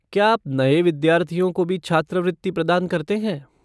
क्या आप नये विद्यार्थियों को भी छात्रवृत्ति प्रदान करते हैं?